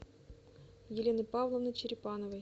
елены павловны черепановой